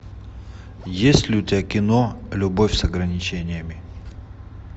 есть ли у тебя кино любовь с ограничениями